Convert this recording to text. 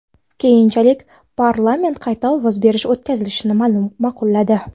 Keyinchalik parlament qayta ovoz berish o‘tkazilishini ma’qulladi.